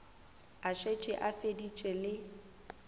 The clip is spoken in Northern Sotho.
a šetše a feditše le